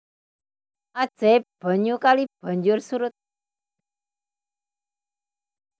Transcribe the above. Ajaib banyu kali banjur surut